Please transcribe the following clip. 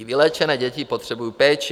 I vyléčené děti potřebují péči.